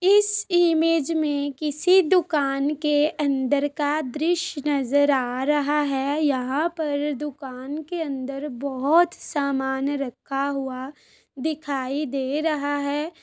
इस इमेज में किसी दुकान के अंदर का दृश्य नज़र आ रहा है यहाँ पर दुकान के अंदर बहुत सामान रखा हुआ दिखाई दे रहा है।